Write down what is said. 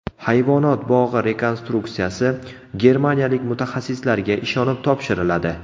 Hayvonot bog‘i rekonstruksiyasi germaniyalik mutaxassislarga ishonib topshiriladi.